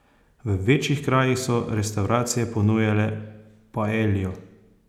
V večjih krajih so restavracije ponujale paeljo.